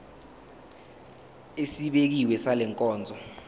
esibekiwe sale nkonzo